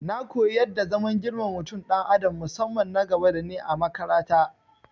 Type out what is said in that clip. Na koyi yadda zaman girmama mutum dan adam musamman nagaba dani a makarata